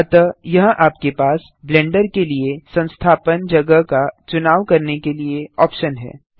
अतः यहाँ आपके पास ब्लेंडर के लिए संस्थापन जगह का चुनाव करने के लिए ऑप्शन है